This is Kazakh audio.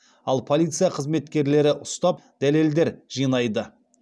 ал полиция қылмыскерлері ұстап дәлелдер жинайды